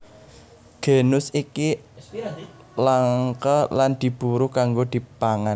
Genus iki langka lan diburu kanggo dipangan